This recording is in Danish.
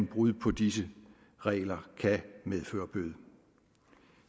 brud på disse regler kan medføre bøde